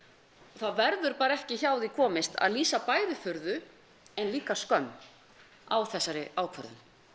það verður bara ekki hjá því komist að lýsa bæði furðu en líka skömm á þessari ákvörðun